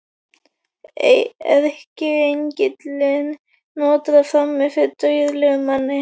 Erkiengillinn nötrar frammi fyrir dauðlegum manni.